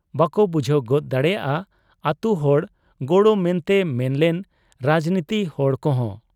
ᱵᱟᱠᱚ ᱵᱩᱡᱷᱟᱹᱣ ᱜᱚᱫ ᱫᱟᱲᱮᱭᱟᱫ ᱟ ᱟᱹᱛᱩ ᱦᱚᱲ ᱜᱚᱲᱚ ᱢᱮᱱᱛᱮ ᱢᱮᱱ ᱞᱮᱱ ᱨᱟᱡᱱᱤᱛᱤ ᱦᱚᱲ ᱠᱚᱦᱚᱸ ᱾